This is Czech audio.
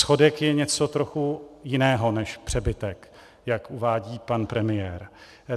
Schodek je něco trochu jiného než přebytek, jak uvádí pan premiér.